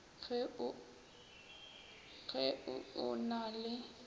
ge o o na le